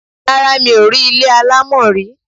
Rárá, mi ò rí ilé alámọ̀ rí.